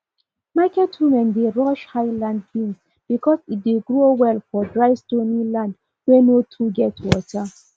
market women dey rush highland beans because e dey grow well for dry stony land wey no too get water